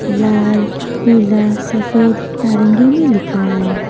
लाल पीला सफेद नारंगी में लिखा है।